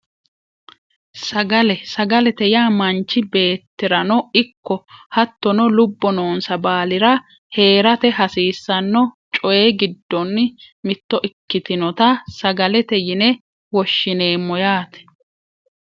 Sagale sagalete yaa manchi beettirano ikko hattono lubbo noonsa baalira heerate hasiisanno coyi giddonni mitto ikkitinota sagalete yine woshshineemmo yaate